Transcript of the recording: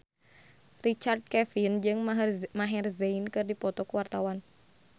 Richard Kevin jeung Maher Zein keur dipoto ku wartawan